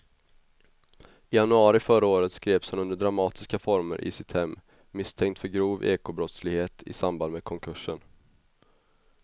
I januari förra året greps han under dramatiska former i sitt hem misstänkt för grov ekobrottslighet i samband med konkursen.